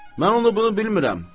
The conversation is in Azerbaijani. mən onu bunu bilmirəm.